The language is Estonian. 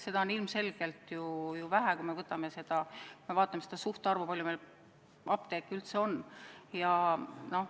Seda on ju ilmselgelt vähe, kui me vaatame suhtarvu, kui palju meil apteeke üldse on.